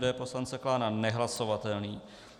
D poslance Klána nehlasovatelný.